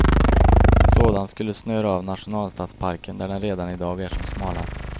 En sådan skulle snöra av nationalstadsparken där den redan i dag är som smalast.